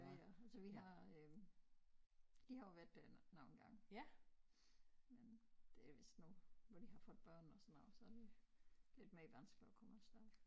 Ja ja så vi har øh de har jo været derinde nogle gange men det er vist nu hvor de har fået børn og sådan noget så er det lidt mere vanskeligt at komme af sted